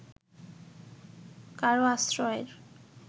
কারও আশ্রয়ের